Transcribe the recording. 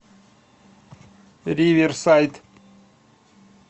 риверсайд